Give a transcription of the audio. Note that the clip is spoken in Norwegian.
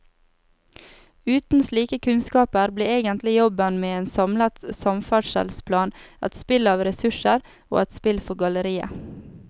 Uten slike kunnskaper blir egentlig jobben med en samlet samferdselsplan et spill av ressurser og et spill for galleriet.